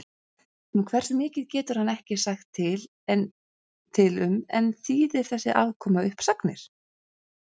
Um hversu mikið getur hann ekki sagt til um en þýðir þessi afkoma uppsagnir?